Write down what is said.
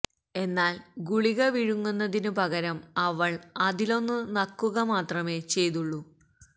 എന്നാൽ ഗുളിക വിഴുങ്ങുന്നതിനു പകരം അവൾ അതിലൊന്നു നക്കുക മാത്രമേ ചെയ്തുള്ളു